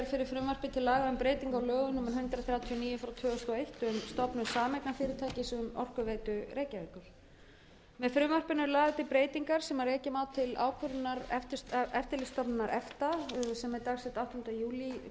og eitt um stofnun sameignarfyrirtækis um orkuveitu reykjavíkur með frumvarpinu eru lagðar til breytingar sem rekja má til ákvörðunar eftirlitsstofnunar efta sem er dagsett áttunda júlí